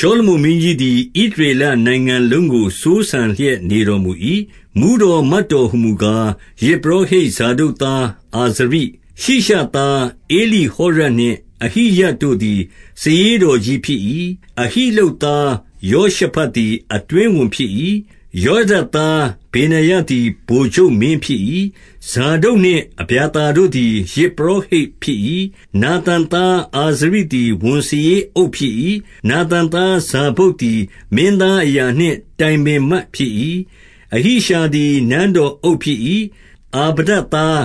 ရှောလမုန်မင်းကြီးသည် ဣသရေလနိုင်ငံလုံးကို စိုးစံလျက် နေတော်မူ၏။ 2 မှူးတော်မတ်တော်ဟူမူကား၊ ယဇ်ပုရောဟိတ် ဇာဒုတ်သားအာဇရိ၊ 3 ရှိရှသားဧလိဟောရပ်နှင့် အဟိယတို့သည် စာရေးတော်ကြီးဖြစ်၏။ အဟိလုပ်သား ယောရှဖတ်သည် အတွင်းဝန်ဖြစ်၏။ 4 ယောယဒသား ဗေနာယသည် ဗိုလ်ချုပ်မင်း ဖြစ်၏။ ဇာဒုတ်နှင့် အဗျာသာတို့သည် ယဇ်ပုရောဟိတ် ဖြစ်၏။ 5 နာသန်သားအာဇရိသည် ဝန်စာရေးအုပ်ဖြစ် ၏။ နာသန်သားဇာဗုဒ်သည် မင်းသားအရာနှင့် တိုင်ပင် မတ်ဖြစ်၏။ 6 အဟိရှာသည် နန်းတော်အုပ်ဖြစ်၏။ အာဗဿား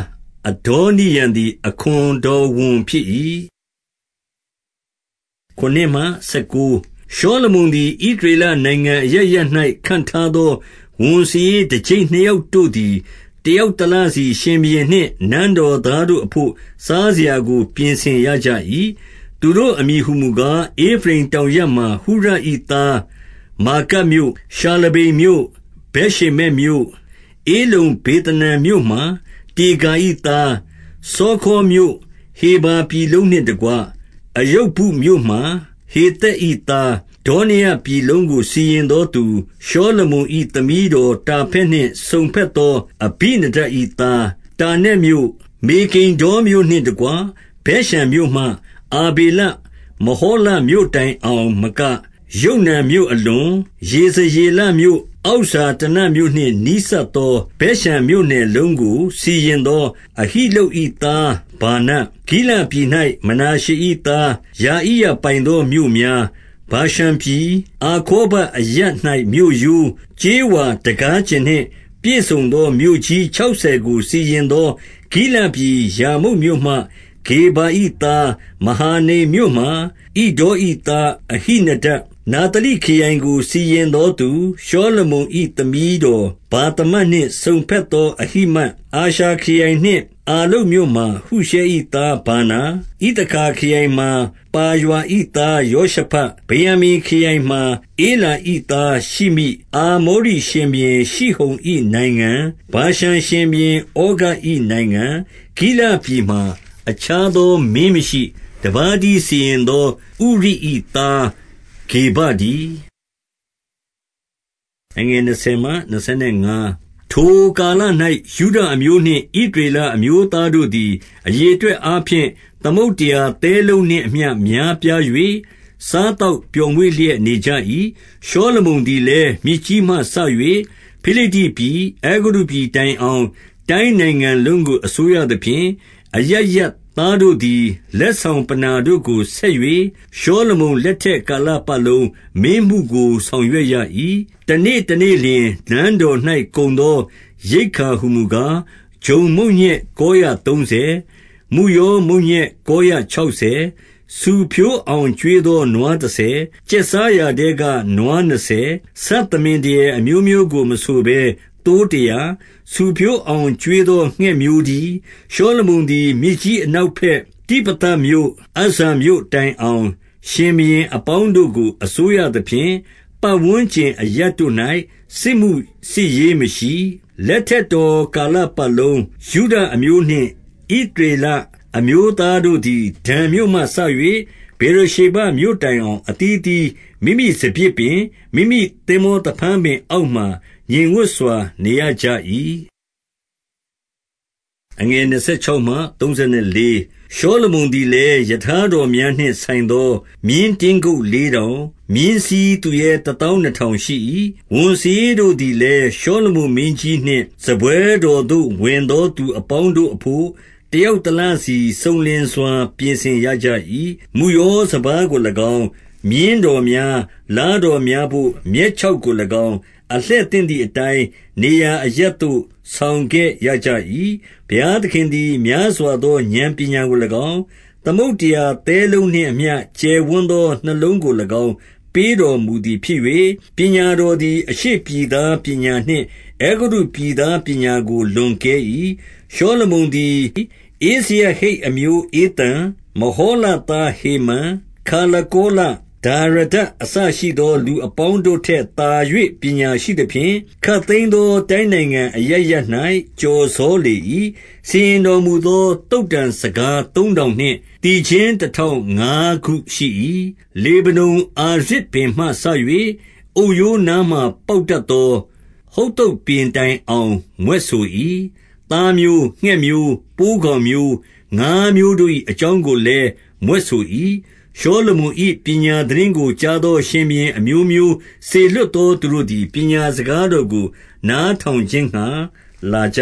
အဒေါနိရံသည် အခွန်တော်ဝန်ဖြစ်၏။ 7 ရှောလမုန်သည် ဣသရေလနိုင်ငံအရပ်ရပ်၌ ခန့်ထားသော ဝန်စာရေးတကျိပ်နှစ်ယောက်တို့သည် တယောက်တလစီ ရှင်ဘုရင်နှင့်နန်းတော်သားတို့ အဘို့ စားစရာကို ပြင်ဆင်ရကြ၏။ 8 သူတို့အမည်ဟူမူကား၊ ဧဖရိမ်တောင်ရပ်မှာ ဟုရ၏သား၊ 9 မာကတ်မြို့၊ ရှာလဗိမ်မြို့၊ ဗက်ရှေမက်မြို့၊ ဧလုမ္ဘေသနန်မြို့မှာ ဒေကာ၏သား၊ 10 စောခေါမြို့၊ ဟေဖာပြည်လုံးနှင့်တကွ အရုဗုတ် မြို့မှာ ဟေသက်၏သား၊ 11 ဒေါရပြည်လုံးကိုစီရင်သောသူ ရှောလမုန်၏ သမီးတော်တာဖတ် နှင့်စုံဘက်သော အဘိနဒပ်၏သား၊ 12 တာနက်မြို့၊ မေဂိဒ္ဒေါမြို့နှင့် တကွဗက်ရှန်မြို့မှ အာဗေလမဟောလမြို့တိုင်အောင်မက၊ ယုတ်နန်မြို့ အလွန်၊ ယေဇရေလမြို့ အောက်ဇာတနမြို့နှင့်နီးစပ် သော ဗက်ရှန်မြို့နယ်လုံးကို စီရင်သော အဟိလုပ်၏သား ဗာန၊ 13 ဂိလဒ်ပြည်၌ မနာရှေ၏သားယာ ဣရပိုင်သော မြို့များ၊ ဗာရှန်ပြည်၊ အာဂေါဘအရပ်၌မြို့ရိုး၊ ကြေးဝါ တံခါးကျင်နှင့်ပြည့်စုံသော မြို့ကြီးခြောက်ဆယ်ကို စီရင် သော ဂိလဒ်ပြည်ရာမုတ်မြို့မှ ဂေဗာ၏သား၊ 14 မဟာနိမ်မြို့မှာ ဣဒေါ၏သားအဟိနဒပ်၊ 15 နဿလိခရိုင်ကိုစီရင်သောသူ၊ ရှောလမုန်၏ သမီးတော် ဗာသမတ်နှင့်စုံဘက်သောအဟိမတ်၊ 16 အာရှာခရိုင်နှင့် အာလုပ်မြို့မှာ ဟုရှဲ၏သား ဗာနာ၊ 17 ဣသခါခရိုင်မှာပါရွာ၏သားယောရှဖတ်၊ 18 ဗင်္ယာမိန်ခရိုင်မှာ ဧလာ၏သားရှိမိ၊ 19 အာမောရိရှင်ဘုရင်ရှိဟုန်၏နိုင်ငံ၊ ဗာရှန် ရှင်ဘုရင်ဩဃ၏နိုင်ငံ၊ ဂိလဒ်ပြည်မှာအခြားသောမင်း မရှိ။ တပါးတည်းစီရင်သော ဥရိ၏သားဂေဗတည်း။ 20 ထိုကာလ၌၊ ယုဒအမျိုးနှင့် ဣသရေလ အမျိုးသားတို့သည် အရေအတွက်အားဖြင့် သမုဒ္ဒရာ သဲလုံးနှင့်အမျှများပြား၍ စားသောက်ပျော်မွေ့လျက် နေကြ၏။ 21 ရှောလမုန်သည်လည်း မြစ်ကြီးမှ စ၍ဖိလိတ္တိ ပြည်၊ အဲဂုတ္တုပြည်တိုင်အောင် တိုင်းနိုင်ငံလုံးကို အစိုးရ သဖြင့်၊ အရပ်ရပ်သားတို့သည် လက်ဆောင်ပဏ္ဏာတို့ကို ဆက်၍၊ ရှောလမုန်လက်ထက်ကာလပတ်လုံး မင်းမှုကို ဆောင်ရွက်ရကြ၏။ 22 တနေ့တနေ့လျှင် နန်းတော်၌ ကုန်သောရိက္ခာ ဟူမူကား၊ ဂျုံမုန့်ညက်ကောရသုံးဆယ်၊ မုယော မုန့်ညက်ကောရခြောက်ဆယ်၊ 23 ဆူဖြိုးအောင်ကျွေးသောနွားတဆယ်၊ ကျက်စား ရာထဲက နွားနှစ်ဆယ်၊ ဆတ်သမင်ဒရယ်အမျိုးမျိုးကို မဆိုဘဲသိုးတရာ၊ ဆူဖြိုးအောင် ကျွေးသောငှက်မျိုး တည်း။ 24 ရှောလမုန်သည် မြစ်ကြီးအနောက်ဘက်၊ တိဖသမြို့မှအဇ္ဇာမြို့တိုင်အောင် ရှင်ဘုရင်အပေါင်းတို့ကို အစိုးရသဖြင့် ပတ်ဝန်းကျင်အရပ်တို့၌ စစ်မှုစစ်ရေးမရှိ။ 25 လက်ထက်တော်ကာလပတ်လုံး၊ ယုဒအမျိုးနှင့် ဣသရေလအမျိုးသားတို့သည်ဒန်မြို့မှစ၍ ဗေရရှေဘမြို့ တိုင်အောင် အသီးအသီးမိမိစပျစ်ပင်၊ မိမိသင်္ဘောသဖန်း ပင်အောက်မှာ ငြိမ်ဝပ်စွာ နေရကြ၏။ 26 ရှောလမုန်သည်လည်း၊ ရထားတော်များနှင့် ဆိုင်သော မြင်းတင်းကုပ်လေးထောင်၊ မြင်းစီးသူရဲ တသောင်းနှစ်ထောင်ရှိ၏။ 27 ဝန်စာရေးတို့သည်လည်း ရှောလမုန်မင်းကြီးနှင့် စားပွဲတော်သို့ ဝင်သောသူအပေါင်းတို့အဘို့ တယောက် တလစီစုံလင်စွာ ပြင်ဆင်ရကြ ၏။ 28 မုယောစပါးကို၎င်း၊ မြင်းတော်များ၊ လားတော် များဘို့ မြက်ခြောက်ကို၎င်း၊ အလှည့်သင့်သည်အတိုင်း နေရာအရပ်သို့ ဆောင်ခဲ့ရကြ၏။ 29 ဘုရားသခင်သည် များစွာသော ဥာဏ်ပညာကို ၎င်း၊ သမုဒ္ဒရာသဲလုံးနှင့်အမျှ ကျယ်ဝန်းသော နှလုံးကို၎င်း ပေးတော်မူသည်ဖြစ်၍၊ 30 ပညာတော်သည် အရှေ့ပြည်သားပညာနှင့် အဲဂုတ္တုပြည်သား ပညာကို လွန်ကဲ၏။ 31 ရှောလမုန်သည် ဧဇရဟိတ်အမျိုးဧသန်၊ မဟောလသားဟေမန်၊ ခါလကောလ၊ ဒါရဒအစရှိသော လူအပေါင်းတို့ထက်သာ၍ ပညာရှိသဖြင့်၊ ခပ်သိမ်းသော တိုင်းနိုင်ငံအရပ်ရပ်၌ ကျော်စောလေ၏။ 32 စီရင်တော်မူသော သုတ္တံစကားသုံးထောင်နှင့် သီချင်းတထောင် ငါးခုရှိ၏။ 33 လေဗနုန်အာရဇ်ပင်မှစ၍ အုတ်ရိုးနားမှာ ပေါက်တတ်သောဟုဿုပ်ပင်တိုင်အောင် မြွက်ဆို၏။ သားမျိုး၊ ငှက်မျိုး၊ ပိုးကောင်မျိုး၊ ငါးမျိုးတို့၏ အကြောင်းကိုလည်း မြွက်ဆို၏။ 34 ရှောလမုန်မင်း၏ ပညာသိတင်းကို ကြားသော ရှင်ဘုရင်အမျိုးမျိုးစေလွှတ်သော သူတို့သည် ပညာစကား တော်ကို နားထောင်ခြင်းငှါ လာကြ